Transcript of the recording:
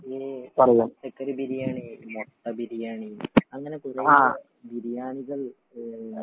ഈ ഈ ചിക്കൻ ബിരിയാണി മുട്ട ബിരിയാണി അങ്ങനെ കുറെയധികം ബിരിയാണികൾ